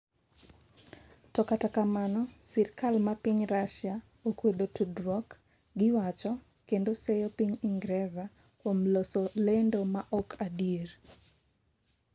To kata kamano, sirikal ma piny Rasia okwedo tudruok gi wacho kendo seyo piny Ingreza kuom loso lendo ma ok adieri